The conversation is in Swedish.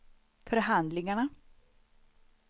förhandlingarna